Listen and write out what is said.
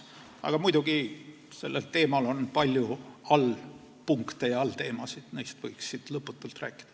Aga muidugi on sellel teemal palju allpunkte ja allteemasid, millest võiks siin lõputult rääkida.